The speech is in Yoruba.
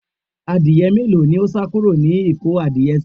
Adìye mélòó ní ó sá kúrò nílé ìkó adìye síí